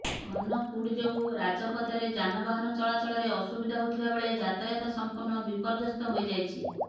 ଘନ କୁହୁଡ଼ି ଯୋଗୁ ରାଜପଥରେ ଯାନବାହାନ ଚଳାଚଳରେ ଅସୁବିଧା ହେଉଥିବା ବେଳେ ଯାତାୟତ ସମ୍ପୂର୍ଣ୍ଣ ବିପର୍ଯ୍ୟସ୍ତ ହୋଇଯାଛି